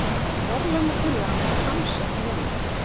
Verðlaunatillagan er samsett mynd